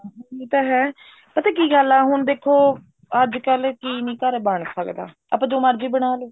ਉਹੀ ਤਾਂ ਹੈ ਪਤਾ ਕੀ ਗੱਲ ਆ ਹੁਣ ਦੇਖੋ ਅੱਜਕਲ ਕੀ ਨੀ ਘਰੇ ਬਣ ਸਕਦਾ ਆਪਾਂ ਜੋ ਮਰਜ਼ੀ ਬਣਾ ਲੋ